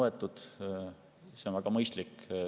See oleks väga mõistlik.